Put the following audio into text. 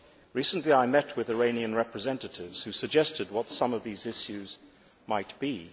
Recently, I met with Iranian representatives who suggested what some of these issues might be.